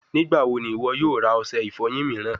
Nigbawo ni iwọ yoo ra ose ifoyin miiran?